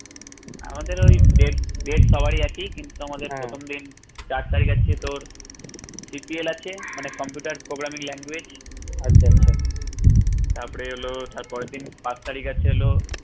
আমাদের ওই date date সবারই একই কিন্তু আমাদের প্রথম দিন চার তারিখ আছে তোর CPL আছে মানে computer programming language তারপরে হলো তারপরের দিন পাঁচ তারিখ আছে হলো